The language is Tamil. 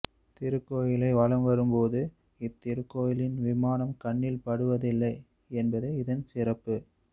திருக்கோயிலை வலம் வரும் போது இத்திருக்கோயிலின் விமானம் கண்ணில் படுவதில்லை என்பது இதன் சிறப்பு